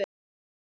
segir Nonni.